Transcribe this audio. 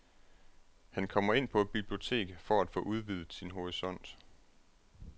Han kommer ind på et bibliotek for at få udvidet sin horisont.